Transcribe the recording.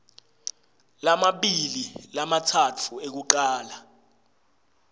lamabili lamatsatfu ekucala